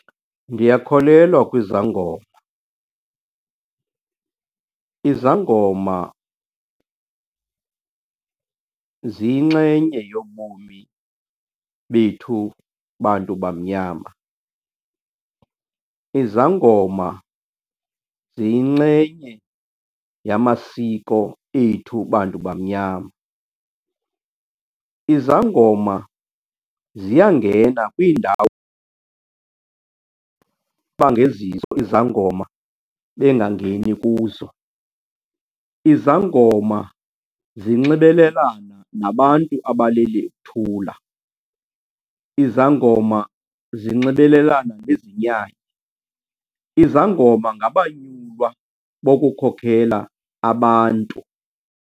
Ndiyakholelwa kwizangoma. Izangoma ziyinxenye yobomi bethu bantu bamnyama, izangoma ziyinxenye yamasiko ethu bantu bamnyama. Izangoma ziyangena kwiindawo bangezizo izangoma bengangeni kuzo. Izangoma zinxibelelana nabantu abaleli uthula, izangoma zinxibelelana nezinyanya. Izangoma ngabanyulwa bokukhokhela abantu.